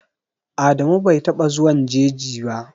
Adamu bai taɓa zuwan jeji ba.